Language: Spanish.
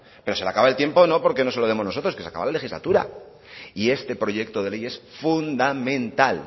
pero se le acaba el tiempo no porque no se lo demos nosotros que se acaba la legislatura y este proyecto de ley es fundamental